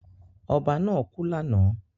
Ọba náà kú lánàá.